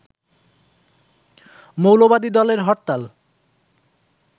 মৌলবাদী দলের হরতাল